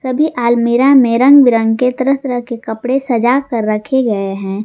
सभी आलमीरा में रंग बिरंग के तरह तरह के कपड़े सजा कर रखे गए हैं।